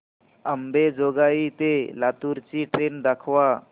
अंबेजोगाई ते लातूर ची ट्रेन दाखवा